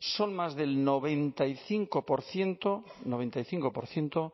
son más del noventa y cinco por ciento